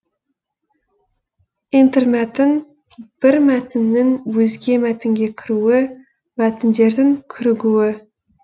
интермәтін бір мәтіннің өзге мәтінге кіруі мәтіндердің кірігуі